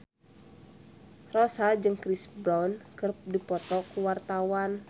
Rossa jeung Chris Brown keur dipoto ku wartawan